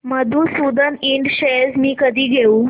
मधुसूदन इंड शेअर्स मी कधी घेऊ